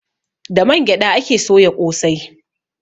Da man gyaɗa ake soya ƙosai.